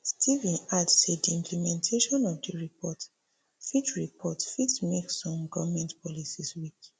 steven add say di implementation of di report fit report fit make some goment policies weak